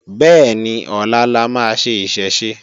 Bẹ́ẹ̀ni, ọlá la máa ṣe Ìṣẹ̀ṣe